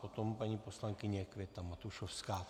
Potom paní poslankyně Květa Matušovská.